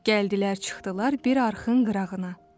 Gəldilər, çıxdılar bir arxın qırağına.